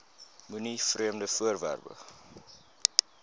moenie vreemde voorwerpe